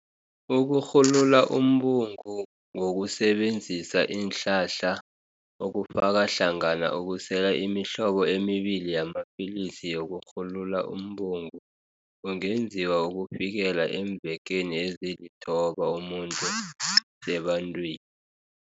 Ukurhululaumbungu ngokusebenzisa iinhlahla, okufaka hlangana ukusela imihlobo emibili yamapilisi yokurhulula umbungu, kungenziwa ukufikela eemvekeni ezilithoba umuntu asebantwi